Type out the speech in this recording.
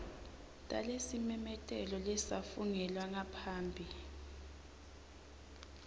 talesimemetelo lesafungelwa ngaphambi